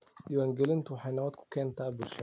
Diiwaangelintu waxay nabad ku keentaa bulshada.